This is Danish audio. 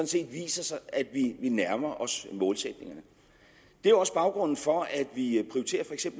set viser at vi nærmer os målsætningerne det er også baggrunden for at vi